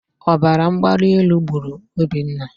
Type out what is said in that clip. Ọbaramgbalielu gburu Obinna.